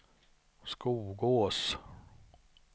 Skogås